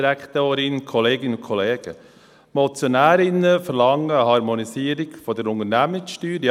Die Motionärinnen verlangen eine Harmonisierung der Unternehmenssteuer.